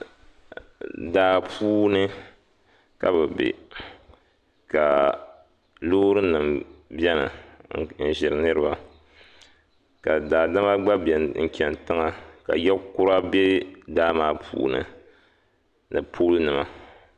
duu puuni ka kuɣu zaya ka kuɣu maa nye zaɣ'vakahili ka dupolibila tam di zuɣu teebuli nyɛla din za kuɣu maa tooni ka binyɛra tam teebuli maa zuɣu fulaawasi nyɛla din za duu maa luɣ'shɛli ka shɛŋa mi yiliya ka anfoonima yili dikpuni maa